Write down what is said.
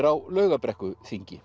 á